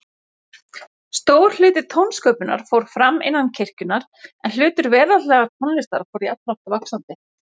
Stór hluti tónsköpunar fór fram innan kirkjunnar, en hlutur veraldlegrar tónlistar fór jafnframt vaxandi.